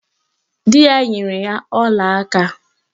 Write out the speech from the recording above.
Di ya nyere ya olaaka